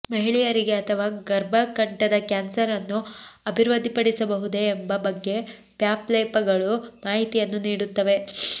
ಮಹಿಳೆಯರಿಗೆ ಅಥವಾ ಗರ್ಭಕಂಠದ ಕ್ಯಾನ್ಸರ್ ಅನ್ನು ಅಭಿವೃದ್ಧಿಪಡಿಸಬಹುದೇ ಎಂಬ ಬಗ್ಗೆ ಪ್ಯಾಪ್ ಲೇಪಗಳು ಮಾಹಿತಿಯನ್ನು ನೀಡುತ್ತವೆ